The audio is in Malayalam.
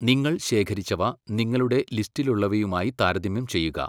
നിങ്ങൾ ശേഖരിച്ചവ നിങ്ങളുടെ ലിസ്റ്റിലുള്ളവയുമായി താരതമ്യം ചെയ്യുക.